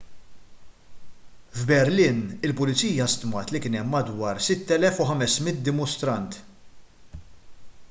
f'berlin il-pulizija stmat li kien hemm madwar 6,500 dimostrant